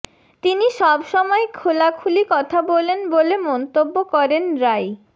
তিনি সব সময় খোলাখুলি কথা বলেন বলে মন্তব্য করেন রাই